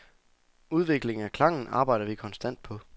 Udviklingen af klangen arbejder vi konstant på.